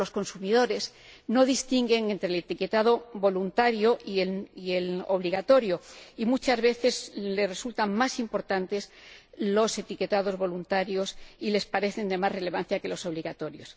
Pero los consumidores no distinguen entre el etiquetado voluntario y el obligatorio, y muchas veces les resultan más importantes los etiquetados voluntarios y les parecen de más relevancia que los obligatorios.